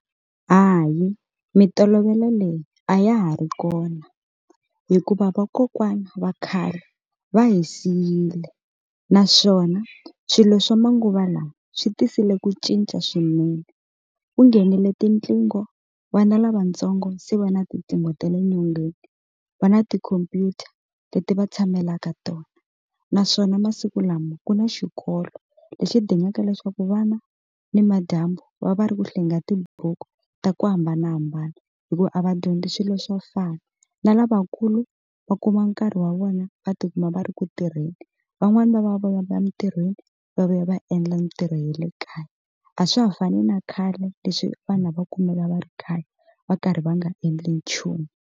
Hayi mitolovelo leyi a ya ha ri kona hikuva vakokwana va khale va hi siyile naswona swilo swa manguva lawa swi tisile ku cinca swinene, ku nghenile tinqingho vana lavatsongo se va na tinqingho ta le nyongeni va na tikhompyuta leti va tshamelaka tona naswona masiku lama ku na xikolo lexi dingaka leswaku vana ni madyambu va va ri ku hlayeni ka tiburuku ta ku hambanahambana hikuva a va dyondzi swilo swo fana na lavakulu va kuma nkarhi wa vona va tikuma va ri ku tirheni van'wani va va va ya emitirhweni va vuya va endla mitirho ya le kaya a swa ha fani na khale leswi vanhu a va kumeka va ri khale va karhi va nga endli nchumu.